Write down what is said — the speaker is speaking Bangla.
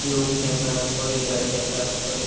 লোক যাতায়াত করে গাড়ি যাতায়াত করে।